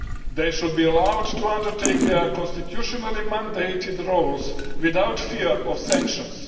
They should be allowed to undertake their constitutionally mandated roles without fear of sanctions.